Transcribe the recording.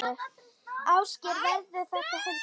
Ásgeir: Verður þetta hörð keppni?